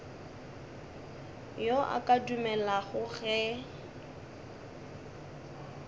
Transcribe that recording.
yo a ka dumelago ge